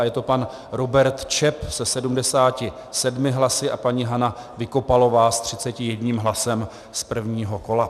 A je to pan Robert Čep se 77 hlasy a paní Hana Vykopalová s 31 hlasem z prvního kola.